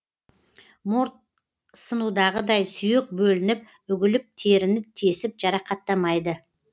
морт сынудағыдай сүйек бөлініп үгіліп теріні тесіп жарақаттамайды